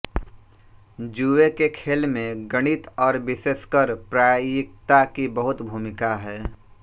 जुए के खेल में गणित और विशेषकर प्रायिकता की बहुत भूमिका है